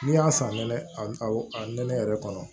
N'i y'a san nɛnɛ a nɛnɛ yɛrɛ kɔnɔ